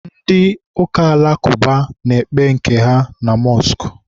ndị ụka alakụba na-ekpe nke ha ma mọskụ.